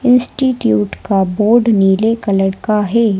Institute का board नीले colour का है।